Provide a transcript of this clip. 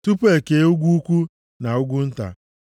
tupu e kee ugwu ukwu na ugwu nta.